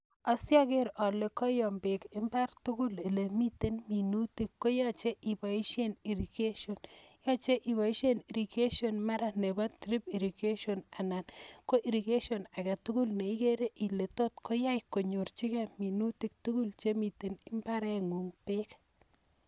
Asiogeer ale koyom beek imbaar tugul olemiten minutik koyoche ibooshien irrigation, yoche iboishien irrigation mara nekisochin anan ko irrigation agetugul neikere Ile tot koyai konyorchigei minuutik tugul chemiten imbaarengung beek